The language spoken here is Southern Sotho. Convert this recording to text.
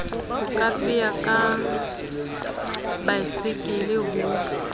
ho kapea ka baesekele ho